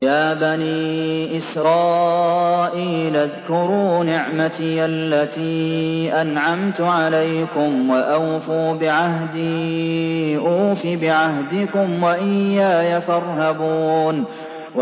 يَا بَنِي إِسْرَائِيلَ اذْكُرُوا نِعْمَتِيَ الَّتِي أَنْعَمْتُ عَلَيْكُمْ وَأَوْفُوا بِعَهْدِي أُوفِ بِعَهْدِكُمْ وَإِيَّايَ فَارْهَبُونِ